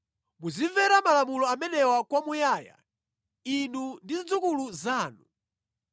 “Muzimvera malamulo amenewa kwa muyaya, inu ndi zidzukulu zanu.